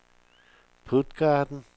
Puttgarden